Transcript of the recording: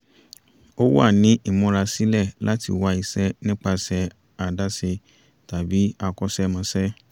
ó wà ní ìmúrasílẹ̀ láti wá iṣẹ́ nípasẹ̀ àdáṣe tàbí akọ́ṣẹ́mọṣẹ́